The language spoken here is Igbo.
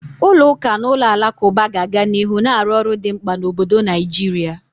Ụlọ ụka na ụlọ alakụba ga-aga n'ihu na-arụ ọrụ dị mkpa na obodo Naijiria.